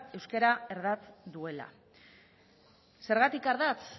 euskara ardatz duela zergatik ardatz